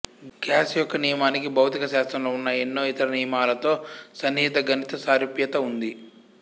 gas యొక్క నియమానికి భౌతిక శాస్త్రంలో ఉన్న ఎన్నో ఇతర నియమాలతోతో సన్నిహిత గణిత సారూప్యత ఉంది